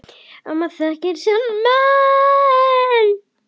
Amma þekkti sinn mann.